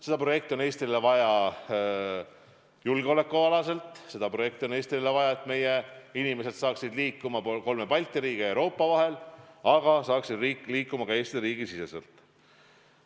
Seda projekti on Eestile vaja julgeoleku tugevdamiseks, seda projekti on Eestile vaja, et meie inimesed saaksid liikuma kolme Balti riigi ja Euroopa vahel, aga saaksid liikuma ka Eesti riigi siseselt.